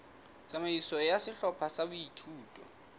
tsamaiso ya sehlopha sa boithuto